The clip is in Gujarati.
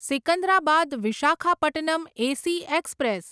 Secunderabad Visakhapatnam AC express